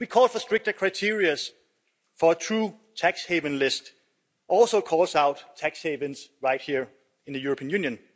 We call for stricter criteria and a for true tax haven list, which also calls out tax havens right here in the European Union.